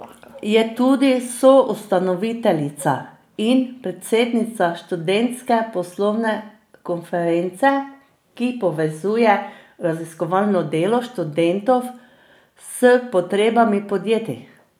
Je tudi soustanoviteljica in predsednica Študentske poslovne konference, ki povezuje raziskovalno delo študentov s potrebami podjetij.